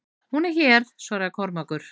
Hún er hér, svaraði Kormákur.